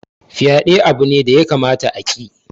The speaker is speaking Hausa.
Fyaɗe abu ne da ya kamata a ki